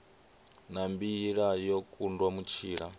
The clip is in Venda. na mbila yo kundwa mutshila